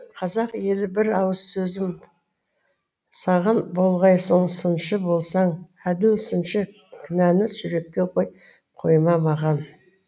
қазақ елі бір ауыз сөзім саған болғайсың сыншы болсаң әділ сыншы кінәні жүрекке қой қойма маған